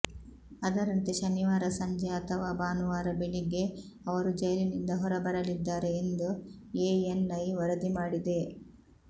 ಅದರಂತೆ ಶನಿವಾರ ಸಂಜೆ ಅಥವಾ ಭಾನುವಾರ ಬೆಳಿಗ್ಗೆ ಅವರು ಜೈಲಿನಿಂದ ಹೊರಬರಲಿದ್ದಾರೆ ಎಂದು ಎಎನ್ಐ ವರದಿ ಮಾಡಿದೆ